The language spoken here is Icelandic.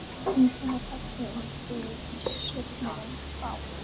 Ísinn var höggvinn úr svellinu á